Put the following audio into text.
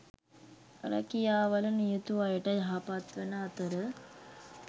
රැකියාවල නියුතු අයට යහපත්වන අතර